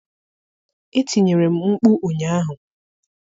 Etinyere m mkpu ụnyaahụ.